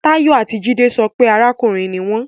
Tayo ati Jide sọ pe arakunrin ni wọn